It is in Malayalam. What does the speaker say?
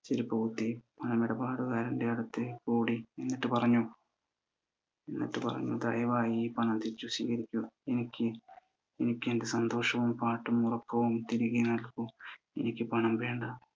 പണമിടപാടുകാരൻ്റെ അടുത്തേക്ക് ഓടി. എന്നിട്ടു പറഞ്ഞു, ദയവായി ഈ പണം തിരിച്ചു സ്വീകരിക്കുക. എനിക്ക് എൻ്റെ സന്തോഷവും പാട്ടും ഉറക്കവും തിരികെ നൽകു. എനിക്ക് പണം വേണ്ട.